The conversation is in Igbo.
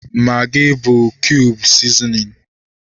Magị bụ kube sizinin